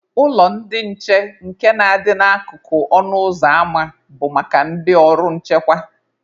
Ụlọ ndị nche nke na-adị n'akụkụ ọnụ ụzọ ama bụ maka ndị ọrụ nchekwa.